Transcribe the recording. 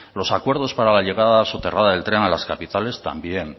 los acuerdos para la llegada soterrada del tren a las capitales también